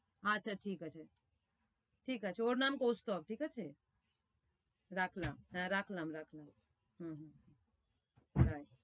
আচ্ছা ঠিক আছে, ঠিক আছে। ওর নাম কস্তোভ, ঠিক আছে? রাখলাম, হ্যাঁ রাখলাম রাখলাম হু হু, বাই।